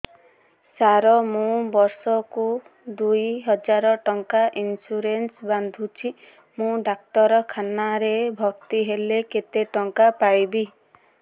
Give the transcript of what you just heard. ସାର ମୁ ବର୍ଷ କୁ ଦୁଇ ହଜାର ଟଙ୍କା ଇନ୍ସୁରେନ୍ସ ବାନ୍ଧୁଛି ମୁ ଡାକ୍ତରଖାନା ରେ ଭର୍ତ୍ତିହେଲେ କେତେଟଙ୍କା ପାଇବି